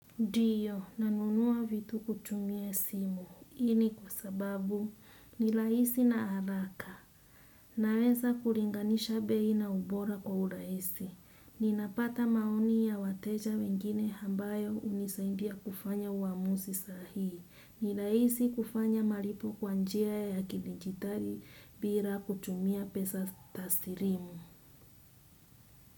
Ndiyo, nanunua vitu kutumia simu. Hii ni kwa sababu ni rahisi na haraka. Naweza kulinganisha bei na ubora kwa urahisi. Ninapata maoni ya wateja wengine ambayo hunisaindia kufanya uamuzi sahii. Ni rahisi kufanya malipo kwa njia ya kidijitali bila kutumia pesa taslimu.